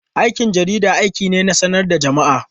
Aikin jarida aiki ne na sanar da jama'a.